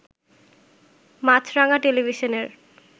মাছরাঙ্গা টেলিভিশনের